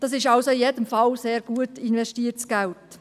Es ist also in jedem Fall sehr gut investiertes Geld.